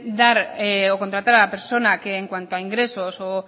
dar o contratar a la persona que en cuanto a ingresos o